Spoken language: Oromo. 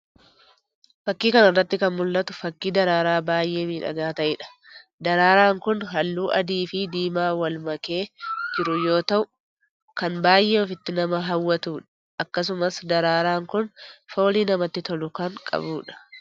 Fakii kana irratti kan mul'atu fakii daraaraa baay'ee miidhagaa ta'edha. daraaraan kun halluu adii fi diima wal makee jiru yoo ta'u kan baay'ee ofitti nama haawwatudha. Akkasumas daraaraan kun foolii namatti tolu kan qabudha